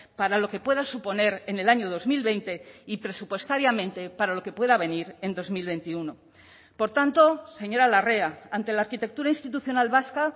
para lo que pueda suponer en el año dos mil veinte y presupuestariamente para lo que pueda venir en dos mil veintiuno por tanto señora larrea ante la arquitectura institucional vasca